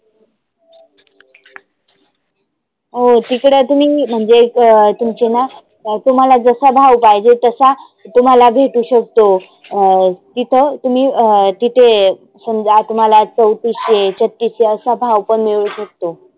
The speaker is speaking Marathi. हो तिकडे तुम्ही म्हणजे एक तुमचे ना तुम्हाला जसा भाव पाहिजे तसा तुम्हाला भेटु शकतो. अं तिथं तुम्ही अं तिथे समजा तुम्हाला चौतिसशे, छत्तीसशे असा भाव पण मिळू शकतो.